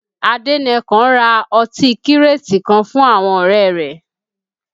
Adenekan ra ọtí kírètì kan fún àwọn ọ̀rẹ́ rẹ̀